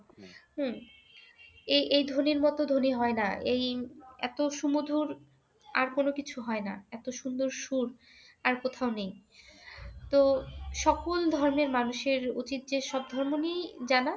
হম এ এই ধ্বনির মতো ধ্বনি হয় না আর। এই এত সুমধুর আর কোনোকিছু হয় না। এত সুন্দর সুর আর কোথাও নেই। তো সকল ধর্মের মানুষের উচিৎ যে সব ধর্ম নিয়েই জানা।